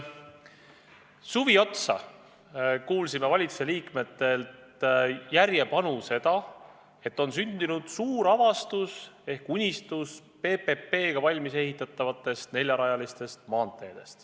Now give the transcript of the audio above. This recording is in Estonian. Suvi otsa kuulsime valitsuse liikmetelt järjepanu seda, et sündinud on suur avastus ehk unistus ehitada PPP abil valmis neljarajalised maanteed.